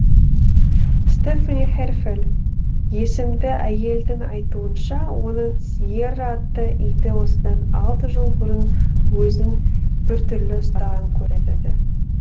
стефани херфель есімді әйелдің айтуынша оның сьерра атты иті осыдан алты жыл бұрын өзін біртүрлі ұстаған көрінеді